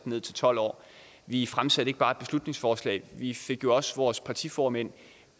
ned til tolv år vi fremsatte ikke bare et beslutningsforslag vi fik jo også vores partiformænd